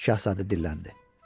Şahzadə dilləndi.